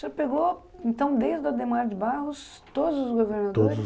Você pegou, então, desde o Adhemar de Barros, todos os governadores? Todos os